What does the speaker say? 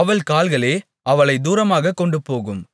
அவள் கால்களே அவளைத் தூரமாகக் கொண்டுபோகும்